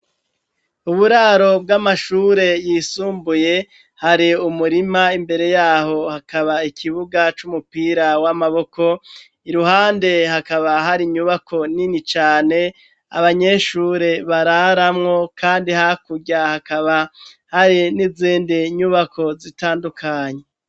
Uburaro bw'amashure yisumbuye hari umurima imbere yaho hakaba ikibuga c'umupira w'amaboko, iruhande hakaba hari nyubako nini cane abanyeshure bararamwo kandi hakurya hakaba hari n'izindi nyubako zitandukanye.